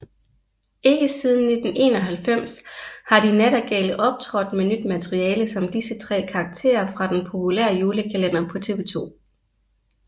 Ikke siden 1991 har De Nattergale optrådt med nyt materiale som disse tre karakterer fra den populære julekalender på TV2